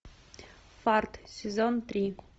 фарт сезон три